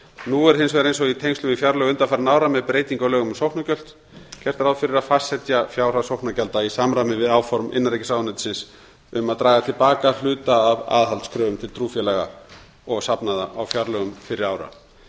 nú er hins vegar eins og í tengslum við fjárlög undanfarinna ára með breytingu á lögum um sóknargjöld gert ráð fyrir að fastsetja fjárhæð sóknargjalda í samræmi við áform innanríkisráðuneytisins um að draga til baka hluta af aðhaldskröfum til trúfélaga og safnaða í fjárlögum fyrri ára ég þarf